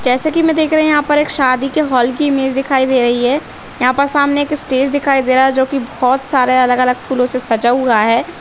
जैसे की हम दिख रहे है कि यहाँ पर एक शादी की होल की इमेज दिखाई दे रही है और यहाँ पर सामने हमें एक स्टेज दिखाई दे रहा है जो की बहोत सारे अलग-अलग फुल से सजा हुआ है।